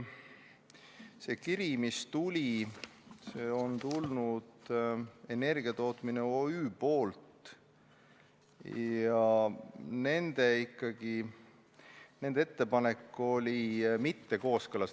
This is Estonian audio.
See kiri, mis meile tuli, oli Energiatootmise OÜ-lt ja nende ettepanek ei olnud kooskõlas.